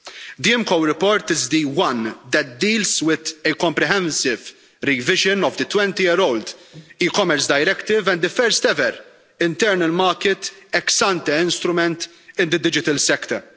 The IMCO report is the one that deals with the comprehensive revision of the 20 year old e Commerce Directive and the first-ever internal market ex-ante instrument in the digital sector.